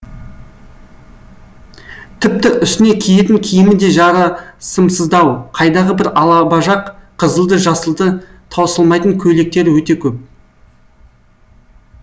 тіпті үстіне киетін киімі де жарасымсыздау қайдағы бір алабажақ қызылды жасылды таусылмайтын көйлектері өте көп